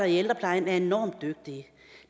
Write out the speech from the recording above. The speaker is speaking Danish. i ældreplejen er enormt dygtige